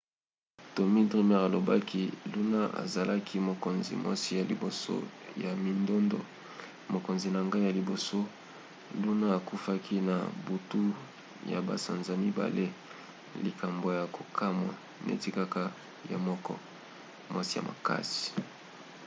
tommy dreamer alobaki luna azalaki mokonzi mwasi ya liboso ya mindondo. mokonzi na ngai ya liboso. luna akufaki na butu ya basanza mibale. likambo ya kokamwa neti kaka ye moko. mwasi ya makasi.